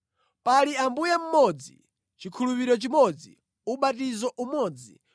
Pali Ambuye mmodzi, chikhulupiriro chimodzi, ubatizo umodzi;